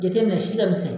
Jateminɛ si ka misɛn